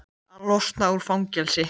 Að losna úr fangelsi?